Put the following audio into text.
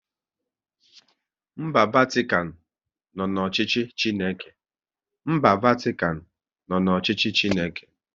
Mba Vatikan nọ n'ọchịchị Chineke